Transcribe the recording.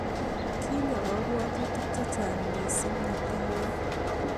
Kinyia kabwatutik che chang mising metinyu